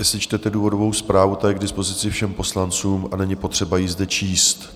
Jestli čtete důvodovou zprávu, ta je k dispozici všem poslancům a není potřeba ji zde číst.